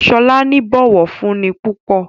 Shola ní bó ọwọ fún ní púpọ.